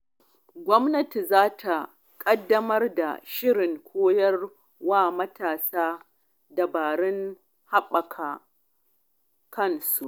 Gwamnati za ta ƙaddamar da shirin koya wa matasa dabarun haɓaka kansu.